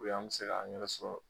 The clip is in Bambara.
O y'an be se k'an yɛrɛ sɔrɔ